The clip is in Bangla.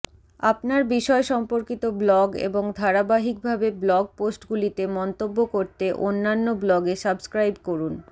আপনার বিষয় সম্পর্কিত ব্লগ এবং ধারাবাহিকভাবে ব্লগ পোস্টগুলিতে মন্তব্য করতে অন্যান্য ব্লগে সাবস্ক্রাইব করুন